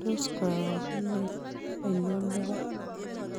Tos' karogent ainon neb po